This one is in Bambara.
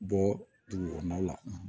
Bɔ dugukɔnɔ la